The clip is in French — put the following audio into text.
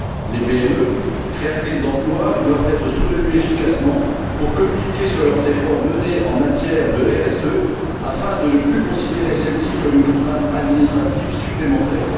Les PME, créatrices d'emplois, doivent être soutenues efficacement pour communiquer sur leurs efforts en matière de RSE, afin de ne plus considérer celle ci comme une contrainte administrative supplémentaire.